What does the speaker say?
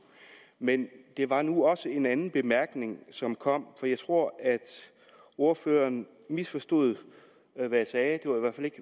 men det var nu også en anden bemærkning som kom for jeg tror at ordføreren misforstod